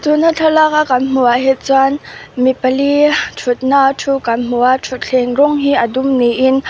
tuna thlalak a kan hmu a hi chuan mi pali thutna a thu kan hmu a thutthleng rawng hi a dum ni in--